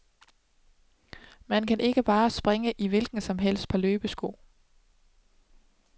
Man kan ikke bare springe i et hvilket som helst par løbesko.